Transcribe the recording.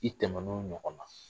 I tɛmɛn'o ɲɔgɔn na